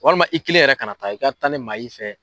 Walima i kelen yɛrɛ kana taa i ka taa ni maa y'i fɛ.